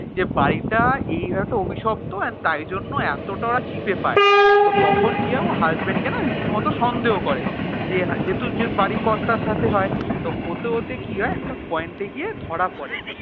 যে বাড়িটা এই হয়ত অভিশপ্ত আর তাই জন্যও এতটা cheap এ পায় তো তখন কি হয় ও husband কে না রীতিমত সন্দেহ করে যে যেহেতু যে বাড়ির কর্তার সাথে হয় তো হতে হতে কি হয় একটা point এ গিয়ে ধরা পড়ে